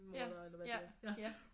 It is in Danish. Ja ja ja